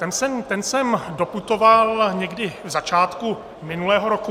Ten sem doputoval někdy na začátku minulého roku.